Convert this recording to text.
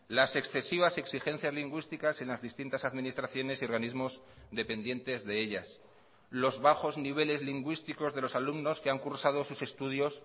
las excesivas exigencias lingüísticas en las distintas administraciones y organismos dependientes de ellas los bajos niveles lingüísticos de los alumnos que han cursado sus estudios